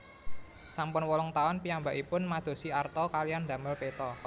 Sampun wolung taun piyambakipun madosi arta kaliyan ndamel peta